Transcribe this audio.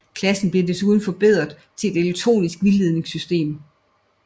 Klassen blev desuden forberedt til et elektronisk vildledningssystem